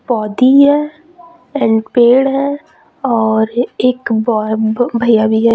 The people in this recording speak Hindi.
पौधी है एंड पेड़ है और एक बॉय ब भैया भी है।